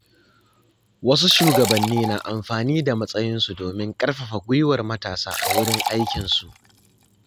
Wasu shugabanni na amfani da matsayinsu domin ƙarfafa gwiwar matasa a wurin aikinsu.